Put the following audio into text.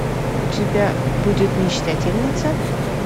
у тебя будет мечтательница